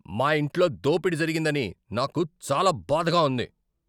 మా ఇంట్లో దోపిడీ జరిగిందని నాకు చాలా బాధగా ఉంది.